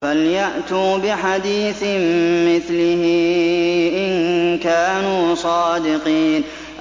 فَلْيَأْتُوا بِحَدِيثٍ مِّثْلِهِ إِن كَانُوا صَادِقِينَ